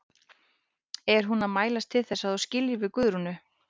Er hún að mælast til þess að þú skiljir við Guðrúnu?